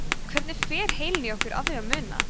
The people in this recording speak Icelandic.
hvernig fer heilinn í okkur að því að muna